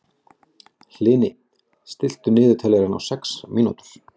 Hlini, stilltu niðurteljara á sex mínútur.